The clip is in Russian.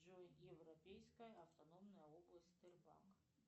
джой европейская автономная область тербанк